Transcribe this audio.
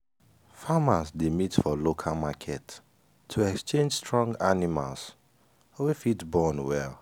farmers dey meet for local market to exchange strong animals wey fit born well.